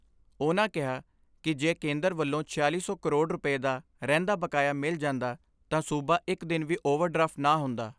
ਉਨ੍ਹਾਂ ਕਿਹਾ ਕਿ ਜੇ ਕੇਂਦਰ ਵੱਲੋਂ ਛਿਆਲੀ ਸੌ ਕਰੋੜ ਰੁਪੈ ਦਾ ਰਹਿੰਦਾ ਬਕਾਇਆ ਮਿਲ ਜਾਂਦਾ ਤਾਂ ਸੂਬਾ ਇਕ ਦਿਨ ਵੀ ਓਵਰ ਡਰਾਫਟ ਨਾ ਹੁੰਦਾ।